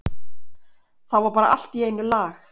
Þá var allt í einu lag.